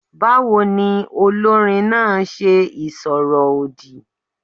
Báwo ni olórin náà ṣe ìsọ̀rọ̀ òdì?